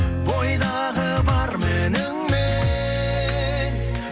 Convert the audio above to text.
бойдағы бар мініңмен